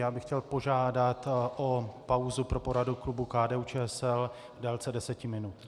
Já bych chtěl požádat o pauzu pro poradu klubu KDU-ČSL v délce deseti minut.